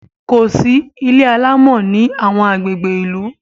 kòsí ilé alamò ní awọn agbègbè ilu